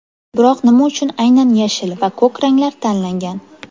Biroq nima uchun aynan yashil va ko‘k ranglar tanlangan?